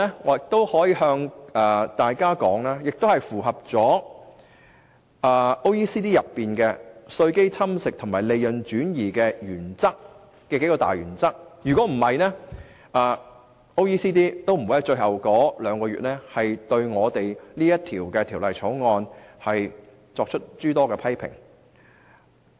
我可以向大家說，《條例草案》符合 OECD 有關稅基侵蝕和利潤轉移的數大原則，否則 OECD 也不會在最後兩個月對《條例草案》作出諸多批評。